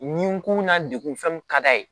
Nin kun na degun fɛn min ka d'a ye